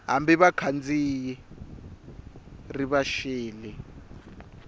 hambi vakhandziyi ri va xele